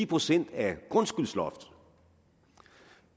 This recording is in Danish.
procent af grundskyldsloftet og